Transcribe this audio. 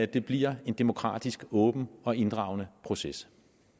det bliver en demokratisk åben og inddragende proces